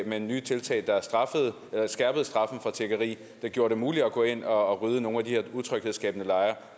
med nye tiltag der skærpede straffen for tiggeri og som gjorde det muligt at gå ind at rydde nogle af de her utryghedsskabende lejre